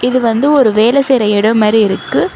இது வந்து ஒரு வேல செய்ற இடோ மாரி இருக்கு.